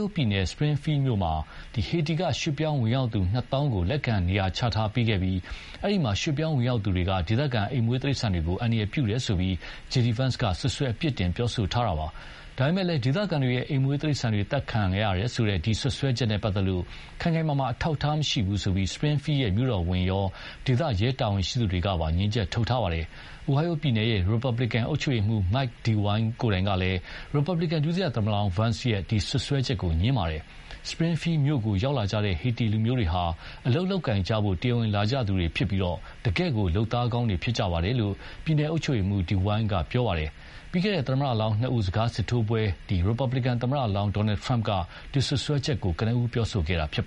အိုဟိုင်းယိုးပြည်နယ် Spingfield မြို့မှာ ဟေတီက ရွှေ့ပြောင်းဝင်ရောက်သူ နှစ်သောင်းကို လက်ခံနေရာချပေးခဲ့ပြီး အဲဒီမှာ ရွှေ့ပြောင်းဝင်ရောက်သူတွေက ဒေသခံ အိမ်မွေးတိရစ္စာန်တွေကို အန္တရာယ်ပြုတယ်ဆိုပြီးJD Vance က စွပ်စွဲအပြစ်တင်ပြောဆိုခဲ့တာပါ။ ဒါပေမယ့်လည်း ဒေသခံတွေရဲ့ အိမ်မွေးတိရစ္ဆာန်တွေ သတ်စားခံရတယ်ဆိုတဲ့ ဒီ စွပ်စွဲမှုနဲ့ပတ်သက်လို့ ခိုင်ခိုင်မာမာ အထောက်ထားမရှိဘူးလို့ Spingfield မြို့တော်ဝန်ရော ဒေသ ရဲတာဝန်ရှိသူတွေကပါ ငြင်းချက်ထုတ်ထားပါတယ်။ အိုဟိုင်းယိုးပြည်နယ်ရဲ့ ရီပတ်ပလန်ကန် အုပ်ချုပ်ရေးမှူး Mike DeWine ကိုယ်တိုင်ကလည်း ရီပတ်ဘလီကန် ဒုသမ္မတလောင်း Vance ရဲ့ ဒီ စွပ်စွဲချက်ကို ငြင်းပါတယ်။ Springfield မြို့ကို ရောက်လာကြတဲ့ ဟေတီလူမျိုးတွေဟာ အလုပ်လုပ်ကိုင်ဖို့ တရားဝင်လာကြသူတွေဖြစ်ပြီး တကယ့်ကို လုပ်သားကောင်းတွေဖြစ်ကြတယ်လို့ ပြည်နယ်အုပ်ချုပ်ရေးမှူးDeWine က ပြောပါတယ်။ ပြီးခဲ့တဲ့ သမ္မတလောင်းနှစ်ဦး စကားစစ်ထိုးပွဲမှာ ရီပတ်ပလင်ကန်သမ္မတလောင်း Donald Trump က ဒီ စွပ်စွဲချက်ကို ကနဦးပြောဆိုခဲ့တာပါ